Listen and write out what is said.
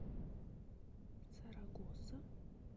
сарагоса